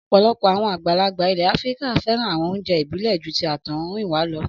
Ọ̀pọ̀lọpọ̀ àwọn àgbàlagbà ilẹ̀ Áfíríkà fẹ́ràn àwọn oúnjẹ ìbílẹ̀ ju ti àtọhúnrìnwá lọ.